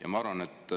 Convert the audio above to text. Ja ma arvan, et